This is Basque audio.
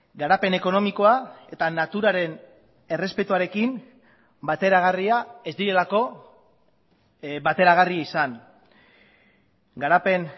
garapen ekonomikoa eta naturaren errespetuarekin bateragarria ez direlako bateragarri izan garapen